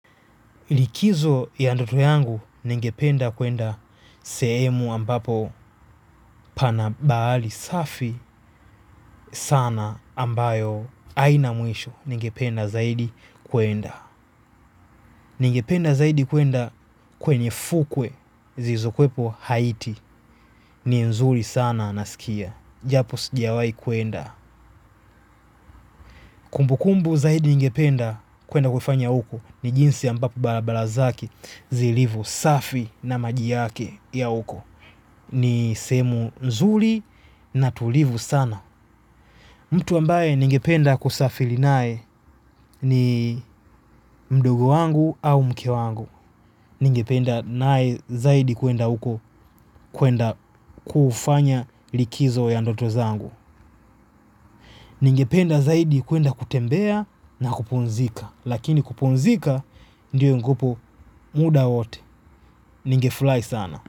Likizo ya ndoto yangu ningependa kuenda sehemu ambapo pana bahari safi sana ambayo haina mwisho, ningependa zaidi kuenda. Ningependa zaidi kuenda kwenye fukwe zilizokuwepo Haiti ni nzuri sana nasikia. Japo sijawahi kuenda. Kumbukumbu zaidi ningependa kuenda kufanya uko ni jinsi ambapo barabara zake zilivyo safi na maji yake ya uko. Ni sehemu nzuri na tulivu sana. Mtu ambaye ningependa kusafiri naye ni mdogo wangu au mke wangu. Ningependa naye zaidi kuenda uko, kuenda kufanya likizo ya ndoto zangu. Ningependa zaidi kuenda kutembea na kupumzika. Lakini kupumzika ndio yungupo muda wote. Ningeflai sana.